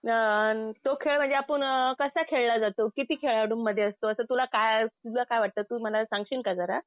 आं तो खेळ म्हणजे आपण कसा खेळला जातो? किती खेळाडूंमध्ये असतो? असं तुला काय तुला काय वाटतं. तू मला सांगशील का जरा?